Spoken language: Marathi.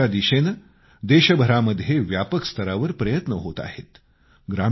स्वच्छतेच्या दिशेने देशभरामध्ये व्यापक स्तरावर प्रयत्न होत आहेत